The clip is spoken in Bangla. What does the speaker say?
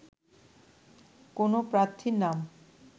কোনো প্রার্থীর নাম